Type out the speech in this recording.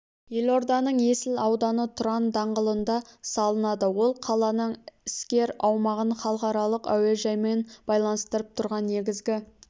елорданың есіл ауданы тұран даңғылында салынады ол қаланың іскер аумағын халықаралық әуежаймен байланыстырып тұрған негізгі